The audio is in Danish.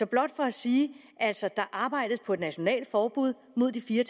blot for at sige at der arbejdes på et nationalt forbud mod de fire